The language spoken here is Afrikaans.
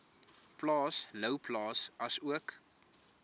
plaas louwplaas asook